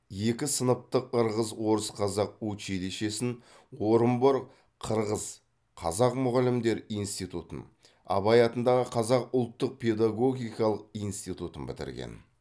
екі сыныптық ырғыз орыс қазақ училищесін орынбор қырғыз қазақ мұғалімдер институтын абай атындағы қазақ ұлттық педагогикалық институтын бітірген